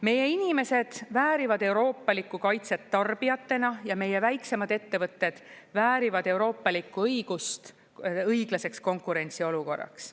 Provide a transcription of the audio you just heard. Meie inimesed väärivad euroopalikku kaitset tarbijatena ja meie väiksemad ettevõtted väärivad euroopalikku õigust õiglaseks konkurentsiolukorraks.